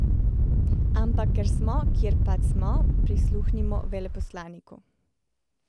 Ampak ker smo, kjer pač smo, prisluhnimo veleposlaniku.